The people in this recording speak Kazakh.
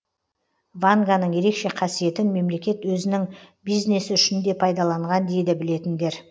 ванганың ерекше қасиетін мемлекет өзінің бизнесі үшін де пайдаланған дейді білетіндер